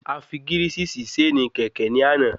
Afi gírìsì sí ṣéènì kẹ̀kẹ́ ní àná